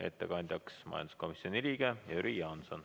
Ettekandjaks on majanduskomisjoni liige Jüri Jaanson.